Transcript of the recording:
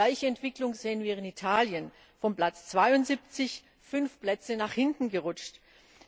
Die gleiche Entwicklung sehen wir in Italien, das von Platz 72 fünf Plätze nach hinten gerutscht ist.